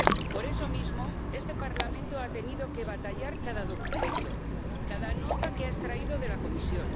Por eso mismo, este Parlamento ha tenido que batallar cada documento, cada nota que ha extraído de la Comisión.